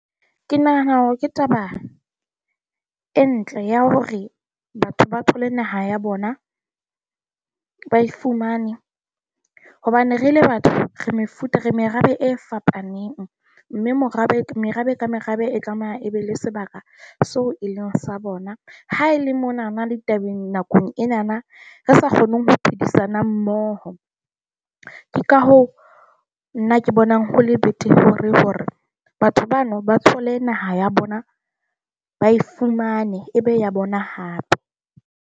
Ke nahana ke taba e ntle ya hore batho ba thole naha ya bona, ba e fumane hobane re le batho re mefuta re merabe e fapaneng, mme morabe, merabe ka merabe e tlameha e be le sebaka seo e leng sa bona. Ha e le monana le tabeng nakong enana re sa kgoneng ho phedisana mmoho. Ke ka hoo nna ke bonang ho le better hore hore batho bano ba thole naha ya bona, ba e fumane e be ya bona hape.